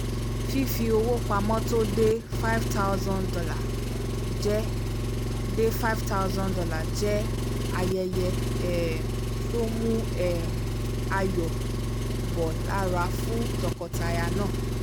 fífowó pamọ́ tó dé five thousand dollar jẹ́ dé thousand dollar jẹ́ ayẹyẹ um tó mu um ayọ̀ bọ́ lára fún tọkọtaya náà